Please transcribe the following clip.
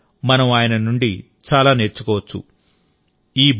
ఈ రోజు కూడా మనం ఆయన నుండి చాలా నేర్చుకోవచ్చు